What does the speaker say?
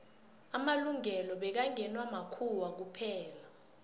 amalungelo bekngewa makhuwa kuphela